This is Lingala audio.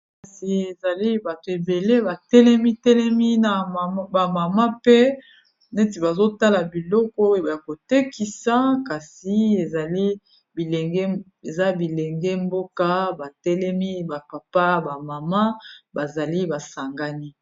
Kasi ezali batu ebele ba telemi, telemi na ba mama mpe neti bazo tala biloko ya ko tekisa. Kasi eza bilenge mboka ba telemi ba papa ba mama, bazali ba sangani.